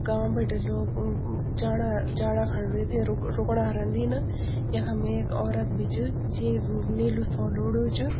गांव बिटी लोग अ म जाणा जाणाखण वेथे रुक रुकणा रंदी न यखम ऐक औरत बि च जींक नीलू शोल ओढू च।